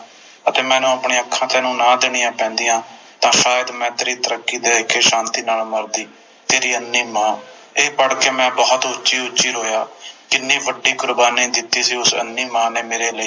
ਅਤੇ ਮੈਨੂੰ ਆਪਣੀਆਂ ਅੱਖਾਂ ਤੈਨੂੰ ਨਾ ਦੇਣੀਆਂ ਪੈਂਦੀਆਂ ਤਾ ਅੱਜ ਮੈਂ ਤੇਰੀ ਤਰੱਕੀ ਦੇਖ ਕੇ ਸ਼ਾਂਤੀ ਨਾਲ ਮਰਦੀ ਤੇਰੀ ਅੰਨ੍ਹੀ ਮਾਂ ਤੇ ਮੈਂ ਇਹ ਪੜ੍ਹ ਕੇ ਬੋਹੋਤ ਉੱਚੀ ਉੱਚੀ ਰੋਇਆ ਕਿੰਨੀ ਵੱਡੀ ਕੁਰਬਾਨੀ ਦਿੱਤੀ ਸੀ ਉਸ ਅੰਨ੍ਹੀ ਮਾਂ ਨੇ ਮੇਰੇ ਲਈ